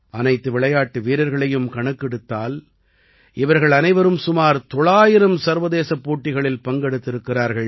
அனைத்து விளையாட்டு வீரர்களையும் கணக்கெடுத்தால் இவர்கள் அனைவரும் சுமார் 900 சர்வதேசப் போட்டிகளில் பங்கெடுத்திருக்கிறார்கள்